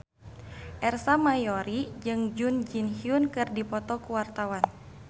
Ersa Mayori jeung Jun Ji Hyun keur dipoto ku wartawan